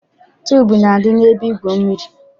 Tuubu na-adị n'ebe igwu mmiri.